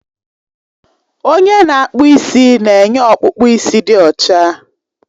Onye na-akpụ isi na-enye ọkpụkpụ isi dị ọcha